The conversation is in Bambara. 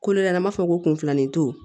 Kolo ɲɛna an b'a fɔ ko kun filanin to